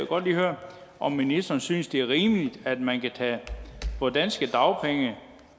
godt lige høre om ministeren synes det er rimeligt at man kan tage danske dagpenge